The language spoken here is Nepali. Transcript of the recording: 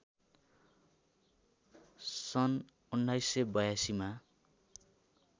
सन् १९८२ मा